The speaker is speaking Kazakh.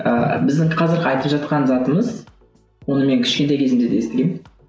ыыы біздің қазіргі айтып жатқан затымыз оны мен кішкентай кезімде де естігемін